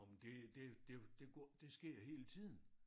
Nåh men det det det det det sker hele tiden